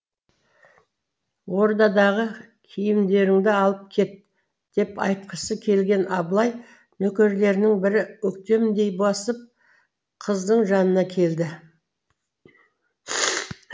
ордадағы киімдеріңді алып кет деп айтқысы келген абылай нөкерлерінің бірі өктемдей басып қыздың жанына келді